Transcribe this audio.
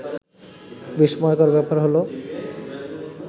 বিস্ময়কর ব্যাপার হলো